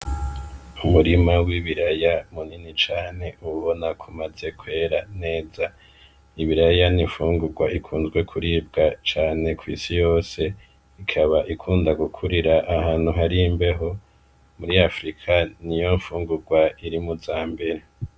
Umurima w'ibiraya munini cane ubona ko umaze kwera neza, ibiraya n'imfugurwa ikunzwe kuribwa cane kw'isi yose, ikaba ikunda gukurira ahantu hari imbeho, muri Afirika niyo mfungurwa iri mu zambere.